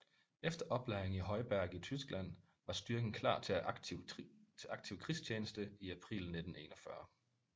Efter oplæring i Heuberg i Tyskland var styrken klar til aktiv krigstjeneste i april 1941